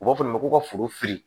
U b'a fɔ ma ko ka foro fili